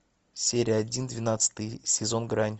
серия один двенадцатый сезон грань